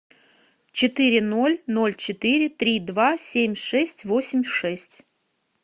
четыре ноль ноль четыре три два семь шесть восемь шесть